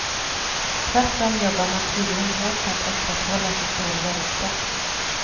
Tvärtom jobbar man tydligen hårt på att upprätthålla sitt dåliga rykte.